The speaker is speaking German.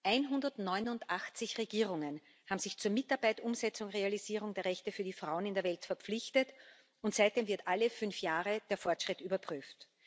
189 Regierungen haben sich zur Mitarbeit, Umsetzung, Realisierung der Rechte für die Frauen in der Welt verpflichtet, und seitdem wird alle fünf Jahre der Fortschritt überprüft.